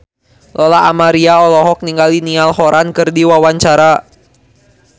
Lola Amaria olohok ningali Niall Horran keur diwawancara